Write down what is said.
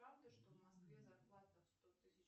правда что в москве зарплата в сто тысяч